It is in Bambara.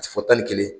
Fɔ tan ni kelen